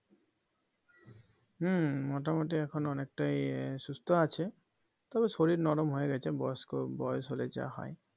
হম মোটামুড়ি এখন অনেকটাই সুস্থ আছে তবে শরীর নরম হয়ে গেছে বয়স্ক বয়স হলে যা হয়